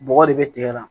Bɔgɔ de bɛ tigɛ la